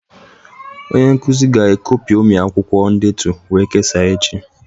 Onye nkuzi ga-e copyomi akwụkwọ ndetu wee kesaa echi